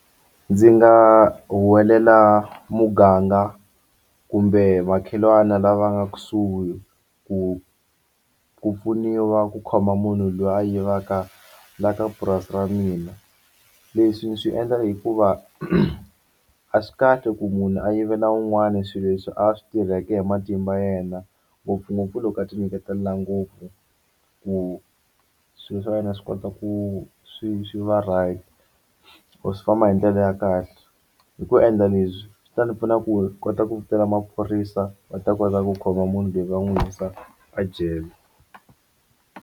Ndzi nga huwelela muganga kumbe makhelwani lava nga kusuhi ku ku pfuniwa ku khoma munhu loyi a yivaka la ka purasi ra mina leswi swi endla hikuva a swi kahle ku munhu a yivela wun'wani swilo leswi a swi tirheke hi matimba yena ngopfungopfu loko a ti nyiketela ngopfu ku swilo swa wena swi kota ku ku swi swi va right or swi famba hi ndlela ya kahle hi ku endla leswi swi ta ndzi pfuna ku kota ku bela maphorisa va ta kota ku khoma munhu loyi va n'wi wisa a jele.